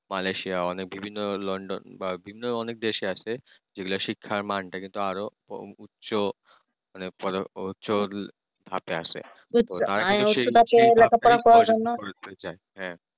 Malesia মানে বিভিন্ন London বা বিভিন্ন অনেক বেশি আছে যেগুলো শিক্ষার মানটাকে আরো উচ্চ ধাপে আছে যাই হ্যাঁ